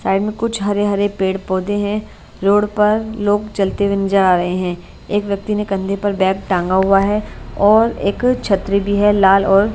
side में कुछ हरे हरे पेड़ पौधे हैं रोड पर लोग चलते हुए जा रहे हैं एक व्यक्ती ने कंधे पर बैग टंगा हुआ है और एक छतरी भी है लाल और--